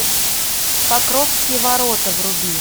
покровские ворота вруби